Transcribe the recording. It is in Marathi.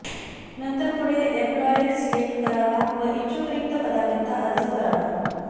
नंतर पुढे एम्पलॉयर सिलेक्ट करावा व इच्छुक रिक्त पदाकरीता अर्ज करावा